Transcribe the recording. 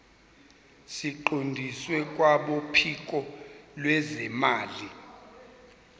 siqondiswe kwabophiko lwezimali